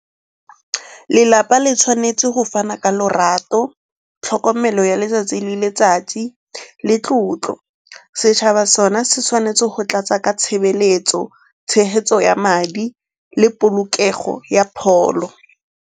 Lelapa le tshwanetse go fana ka lorato, tlhokomelo ya letsatsi le letsatsi le tlotlo. Setšhaba sone se tshwanetse go tlatsa ka tshebeletso, tshegetso ya madi le polokego ya pholo.